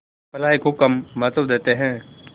भलाई को कम महत्व देते हैं